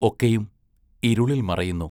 ഒക്കെയും ഇരുളിൽ മറയുന്നു...